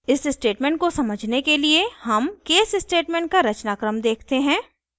इस स्टेटमेंट को समझने के लिए हम case स्टेटमेंट का रचनाक्रम देखते हैं